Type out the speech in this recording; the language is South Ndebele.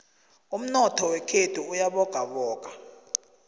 umnotho wekhethu uyabogaboga